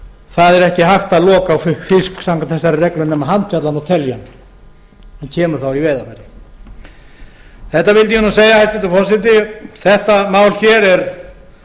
það er ekki hægt að loka á fisk samkvæmt þessari reglu nema handfjatla hann og telja hann hann kemur þá í veiðarfæri þetta vildi ég segja hæstvirtur forseti þetta mál hér er